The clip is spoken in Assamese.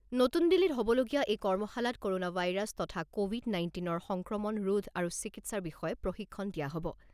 নতুন দিল্লীত হ'বলগীয়া এই কৰ্মশালাত ক'ৰনা ভাইৰাছ তথা ক’ভিড নাইণ্টিন ৰ সংক্ৰমণ ৰোধ আৰু চিকিৎসাৰ বিষয়ে প্ৰশিক্ষণ দিয়া হ'ব।